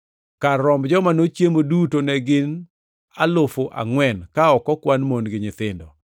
Kar romb joma nochiemo duto ne gin alufu angʼwen, ka ok okwan mon gi nyithindo.